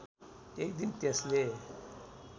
एक दिन त्यसले